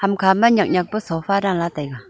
hamkha ma nyak nyak pa sofa danla taiga.